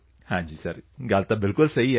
ਹਾਂ ਸਰ ਸਹੀ ਹੈ ਸਰ